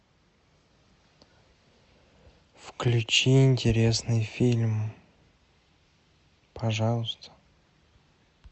включи интересный фильм пожалуйста